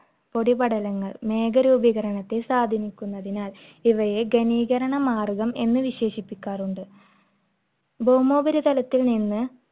പൊടിപടലങ്ങൾ മേഘരൂപീകരണത്തെ സ്വാധീനിക്കുന്നതിനാൽ ഇവയെ ഗണീകരണമാർഗം എന്ന് വിശേഷിപ്പിക്കാറുണ്ട്. ഭൗമോപരിതലത്തിൽനിന്ന്